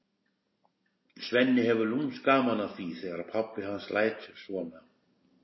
Svenni hefur lúmskt gaman af því þegar pabbi hans lætur svona.